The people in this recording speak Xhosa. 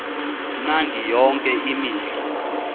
mnandi yonke imihla